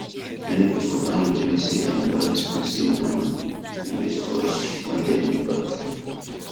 many people don regret say dem buy expensive um wristwatch when dem look back